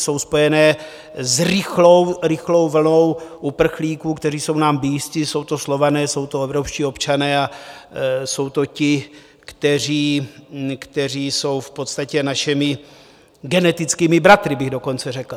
Jsou spojené s rychlou vlnou uprchlíků, kteří jsou nám blízcí, jsou to Slované, jsou to evropští občané a jsou to ti, kteří jsou v podstatě našimi genetickými bratry, bych dokonce řekl.